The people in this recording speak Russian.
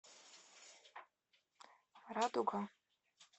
радуга